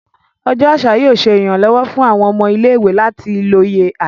Ọjọ aṣa yóò ṣe iranlọwọ fun awọn ọmọ ile-iwe lati loye aṣa.